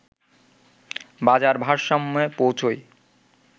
বাজার ভারসাম্যে পৌছয়